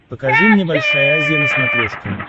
покажи мне большая азия на смотрешке